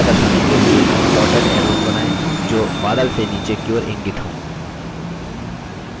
वर्षा दर्शाने के लिए dotted arrows बनाएँ जो बादल से नीचे की ओर इंगित to